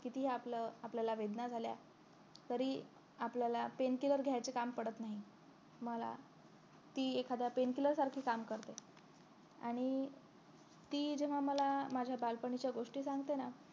कितीही आपलं आपल्याला वेदना झाल्या तरी आपल्याला pain cure घ्यायचं काम पडत नाही आम्हाला ती एखाद्या pain cure सारखे काम करते आणि ती जेव्हा मला माझ्या बालपणीच्या गोष्टी सांगते ना